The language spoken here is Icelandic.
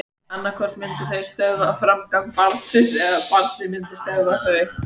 Annað hvort myndu þau stöðva framgang barnsins eða barnið myndi stöðva þau.